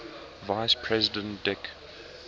vice president dick